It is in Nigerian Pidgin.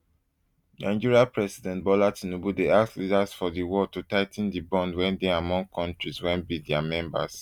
nigeria president bola tinubu dey ask leaders for di world to tigh ten di bond wey dey among kontris wey be dia members